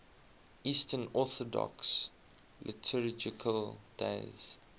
eastern orthodox liturgical days